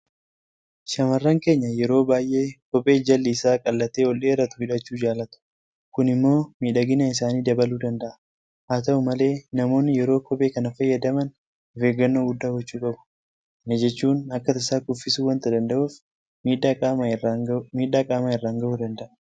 Shaamarran keenya yeroo baay'ee kophee jalli isaa qal'atee ol dheeratu hidhachuu jaalatu. Kun immoo miidhagina isaanii dabaluu danda'a. Haata'u malee namoonni yeroo kophee kana fayyadaman ofeeggannoo guddaa gochuu qabu. Kana jechuun akka tasaa kuffisuu waanta danda'uuf miidhaa qaamaa irraan gahuu danda'a.